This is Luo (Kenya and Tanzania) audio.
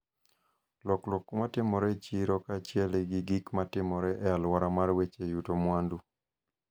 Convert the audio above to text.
lokruok ma timore e chiro kaachiel gi gik ma timore e alwora mar weche yuto mwandu,